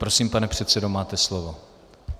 Prosím, pane předsedo, máte slovo.